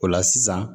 O la sisan